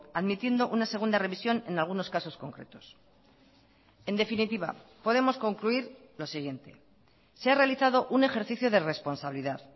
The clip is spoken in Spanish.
admitiendo una segunda revisión en algunos casos concretos en definitiva podemos concluir lo siguiente se ha realizado un ejercicio de responsabilidad